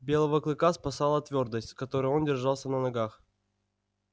белого клыка спасала твёрдость с которой он держался на ногах